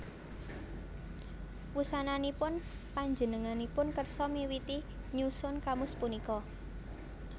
Wusananipun panjenenganipun kersa miwiti nyusun kamus punika